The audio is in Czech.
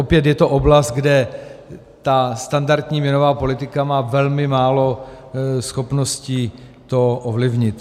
Opět je to oblast, kde ta standardní měnová politika má velmi málo schopností to ovlivnit.